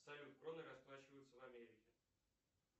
салют кроной расплачиваются в америке